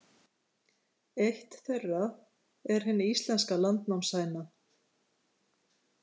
Eitt þeirra er hin íslenska landnámshæna.